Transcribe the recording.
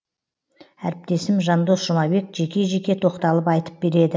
әріптесім жандос жұмабек жеке жеке тоқталып айтып береді